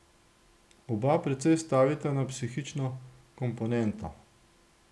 Oba precej stavita na psihično komponento.